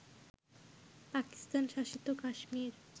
পাকিস্তান-শাসিত Kashmir